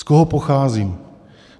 Z koho pocházím.